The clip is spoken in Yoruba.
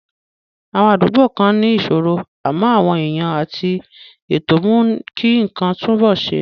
Àwọn àdúgbò kan ní ìṣòro, àmọ́ àwọn èèyàn àti ètò mú kí nǹkan túnbọ̀ ṣe.